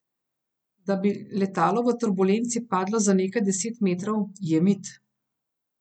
Da bi letalo v turbulenci padlo za nekaj deset metrov, je mit.